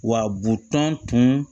Wa butɔn tun